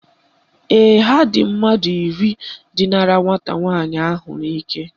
Ee, ha dị mmadụ iri dinara nwata nwaanyị ahụ n'ike